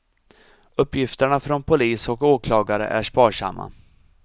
Uppgifterna från polis och åklagare är sparsamma.